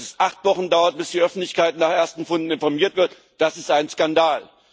Dass es acht Wochen dauert, bis die Öffentlichkeit nach ersten Funden informiert wird, das ist ein Skandal!